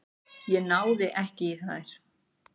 Ég náði ekki í þær.